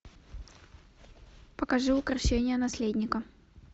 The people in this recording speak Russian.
покажи укрощение наследника